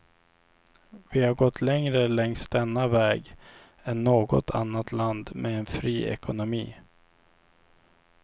Vi har gått längre längs denna väg än något annat land med en fri ekonomi.